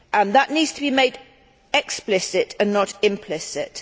That needs to be made explicit, and not implicit.